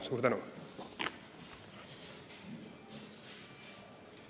Suur tänu!